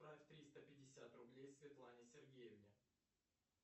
отправь триста пятьдесят рублей светлане сергеевне